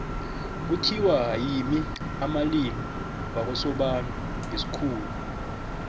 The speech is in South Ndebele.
kuthiwa yimi amalimi wakosobantu ngesikhuwa